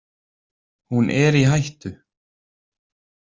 Hún er í hættu.